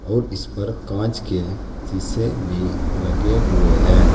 और इस पर कांच के शीशे भी लगे हुए हैं।